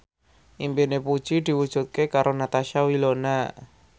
impine Puji diwujudke karo Natasha Wilona